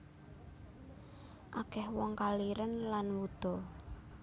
Akeh wong kaliren lan wuda